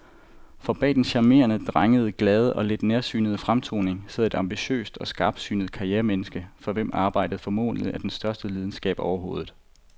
For bag den charmerende, drengede, glade og lidt nærsynede fremtoning sidder et ambitiøst og skarpsynet karrieremenneske, for hvem arbejdet formentlig er den største lidenskab overhovedet.